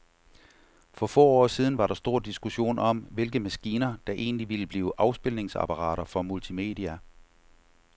For få år siden var der stor diskussion om, hvilke maskiner, der egentlig ville blive afspilningsapparater for multimedia.